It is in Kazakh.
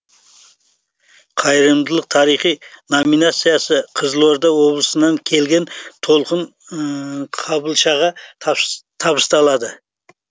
қайырымдылық тарихы номинациясы қызылорда облысынан келген толқын қабылшаға табысталды